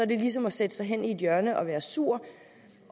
det ligesom at sætte sig hen i et hjørne og være sur